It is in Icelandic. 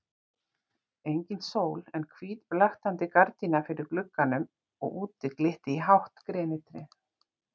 Engin sól en hvít blaktandi gardína fyrir glugganum og úti glitti í hátt grenitré.